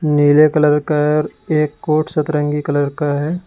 नीले कलर का एक कोर्ट सतरंगी कलर का है।